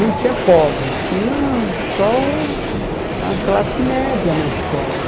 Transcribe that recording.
Não tinha pobre, tinha só a classe média na escola.